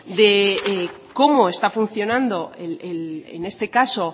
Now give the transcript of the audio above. de cómo está funcionando en este caso